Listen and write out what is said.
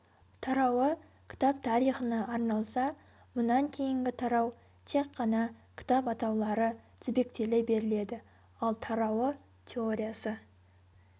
тарауы кітап тарихына арналса мұнан кейінгі тарау тек қана кітап атаулары тізбектеле беріледі ал тарауы теориясы